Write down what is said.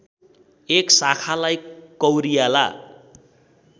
एक शाखालाई कौरियाला